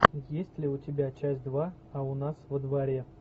есть ли у тебя часть два а у нас во дворе